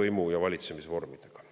võimu- ja valitsemisvormidega.